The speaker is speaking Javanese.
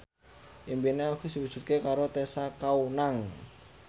impine Agus diwujudke karo Tessa Kaunang